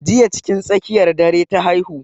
Jiya cikin tsakiyar dare ta haihu.